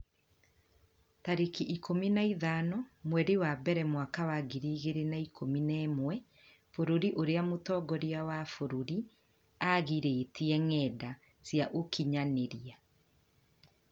tarĩki ikũmi na ithano mweri wa mbere mwaka wa ngiri igĩrĩ na ikũmi na ĩmwe Bũrũri ũrĩa mũtongoria wa bũrũri aagirĩtie ngenda cia ũkinyanĩria